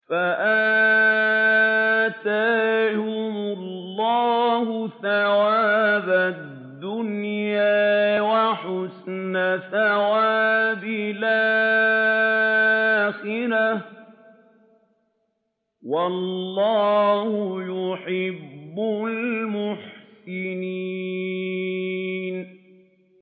فَآتَاهُمُ اللَّهُ ثَوَابَ الدُّنْيَا وَحُسْنَ ثَوَابِ الْآخِرَةِ ۗ وَاللَّهُ يُحِبُّ الْمُحْسِنِينَ